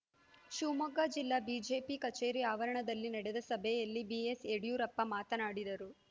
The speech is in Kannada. ಶಿವಮೊಗ್ಗ ಜಿಲ್ಲಾ ಬಿಜೆಪಿ ಕಚೇರಿ ಆವರಣದಲ್ಲಿ ನಡೆದ ಸಭೆಯಲ್ಲಿ ಬಿಎಸ್‌ ಯಡಿಯೂರಪ್ಪ ಮಾತನಾಡಿದರು